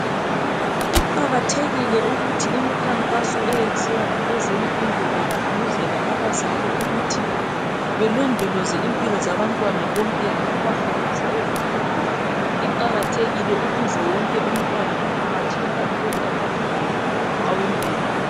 Kuqakathekile ukuthi imikhankaso eyenziwa ngabezempilo begqugquzela abazali ukuthi belondoloze impilo zabantwana bonke ngokubahambisa ezifundweni. Iqakathekile ukuze wonke umntwana emphakathini athole amalungelo awempilo.